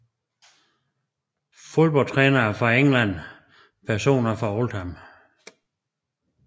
Fodboldtrænere fra England Personer fra Oldham